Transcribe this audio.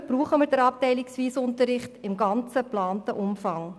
Dafür brauchen wir den abteilungsweisen Unterricht im geplanten Umfang.